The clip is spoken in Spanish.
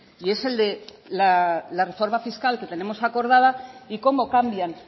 y es el de la reforma fiscal que tenemos acordada y cómo cambian